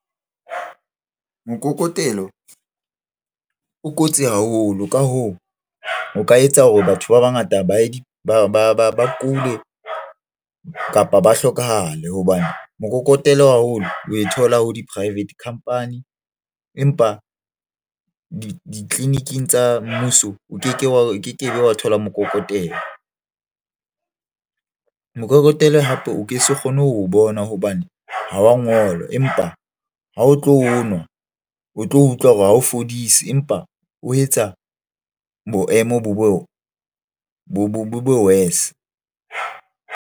Mokokotelo o kotsi haholo. Ka hoo, o ka etsa hore batho ba bangata ba kule kapa ba hlokahale. Hobane mokokotelo haholo oe thola ha di-private company, empa ditleliniking tsa mmuso o keke be wa thola mokokotelo. Mokokotelo hape, o ke se kgone ho bona hobane ha wa ngolwa. Empa ha o tlo onwa, o tlo utlwa hore ha o fodise. Empa o etsa boemo bo be worse.